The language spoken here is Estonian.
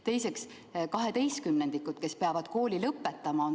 Teiseks on väga halvas olukorras kaheteistkümnendikud, kes peavad kooli lõpetama.